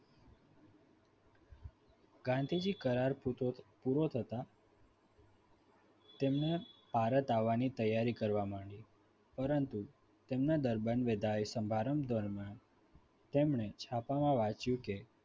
ગાંધીજી કરાર કરાર પૂરો થતાં તેમણે ભારત આવવાની તૈયારી કરવા માંડી પરંતુ તેમના ધર્મન વિજય સમારંભ દરમિયાન તેમણે છાપામાં વાંચ્યું કે